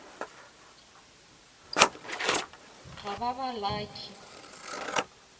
ga ba ba lucky